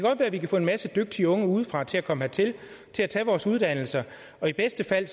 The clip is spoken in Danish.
godt være at vi kan få en masse dygtige unge udefra til at komme hertil og tage vores uddannelser og i værste fald